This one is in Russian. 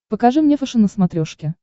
покажи мне фэшен на смотрешке